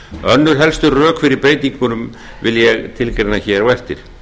önnur helstu rökin fyrir breytingunum vil ég tilgreina hér á eftir